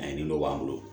A ye nin nɔgɔ k'an bolo